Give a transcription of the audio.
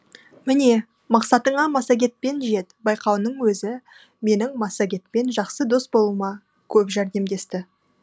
міне мақсатыңа массагетпен жет байқауының өзі менің массагетпен жақсы дос болуыма көп жәрдемдесті